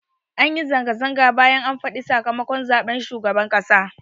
Anyi zanga-zanga bayan an faɗa sakamakon zaɓen shugaban ƙasa